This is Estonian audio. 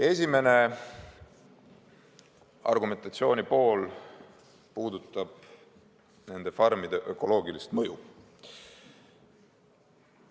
Esimene argumentatsioonipool puudutab nende farmide ökoloogilist mõju.